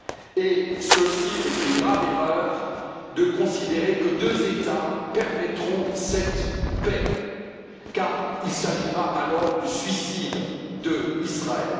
Et c'est une grave erreur de considérer que deux États permettront cette paix, car il s'agira alors du suicide d'Israël.